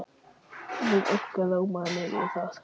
Jú, eitthvað rámaði mig í það.